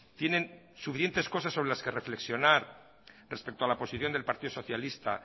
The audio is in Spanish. tienen suficientes cosas sobre las que reflexionar respecto a la posición del partido socialista